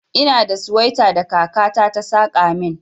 Ina da suwaita da kaka ta ta saka min.